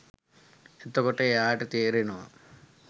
එතකොට එයාට තේරෙනවා